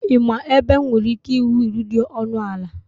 Ị ma ebe m nwere ike ịhụ wiil dị ọnụ ala